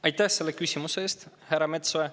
Aitäh selle küsimuse eest, härra Metsoja!